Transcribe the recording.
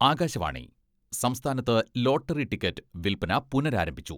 ആകാശവാണി സംസ്ഥാനത്ത് lottery ticket വിൽപ്പന പുനരാരംഭിച്ചു.